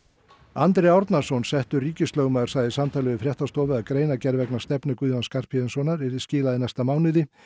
Andri Árnason settur ríkislögmaður sagði í samtali við fréttastofu að greinargerð vegna stefnu Guðjóns Skarphéðinssonar yrði skilað í næsta mánuði